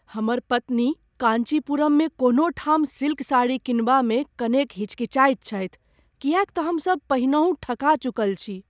हमर पत्नी काँचीपुरममे कोनो ठाम सिल्क साड़ी किनबामे कनेक हिचकिचाइत छथि किएक तँ हमसब पहिनहुँ ठका चुकल छी।